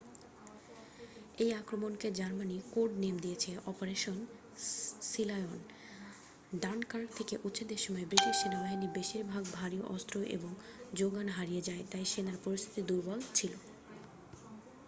এই আক্রমণকে Germany code name দিয়েছে অপারেশন সিলায়ন'' ডানকার্ক থেকে উচ্ছেদের সময় ব্রিটিশ সেনাবাহিনীর বেশিরভাগ ভারী অস্ত্র এবং জোগান হারিয়ে যায় তাই সেনার পরিস্থিতি দুর্বল ছিল